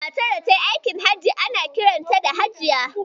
Matar da tayi aikin Hajji ana kiranta da Hajiya.